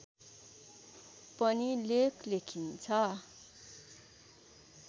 पनि लेख लेखिन्छ